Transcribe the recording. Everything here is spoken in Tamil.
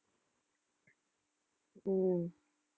உம்